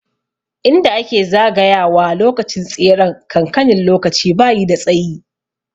Inda ake zagaya wa lokacin tseren kankanin lokaci bayi da tsayi